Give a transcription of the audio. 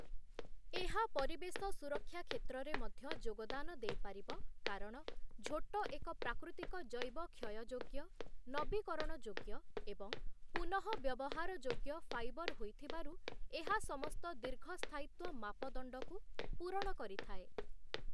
ଏହା ପରିବେଶ ସୁରକ୍ଷା କ୍ଷେତ୍ରରେ ମଧ୍ୟ ଯୋଗଦାନ ଦେଇପାରିବ କାରଣ ଝୋଟ ଏକ ପ୍ରାକୃତିକ ଜୈବ କ୍ଷୟଯୋଗ୍ୟ, ନବୀକରଣଯୋଗ୍ୟ ଏବଂ ପୁନଃବ୍ୟବହାର ଯୋଗ୍ୟ ଫାଇବର୍ ହୋଇଥିବାରୁ ଏହା ସମସ୍ତ ଦୀର୍ଘସ୍ଥାୟିତ୍ଵ ମାପଦଣ୍ଡକୁ ପୂରଣ କରିଥାଏ ।